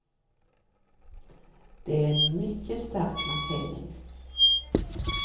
Det är en mycket stark markering.